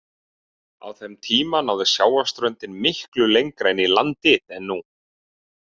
Á þeim tíma náði sjávarströndin miklu lengra inn í landið en nú.